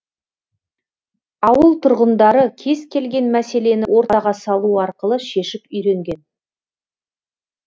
ауыл тұрғындары кез келген мәселені ортаға салу арқылы шешіп үйренген